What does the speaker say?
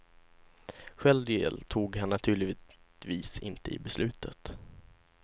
Själv deltog han naturligtvis inte i beslutet.